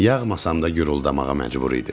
Yağmasam da guruldamağa məcbur idim.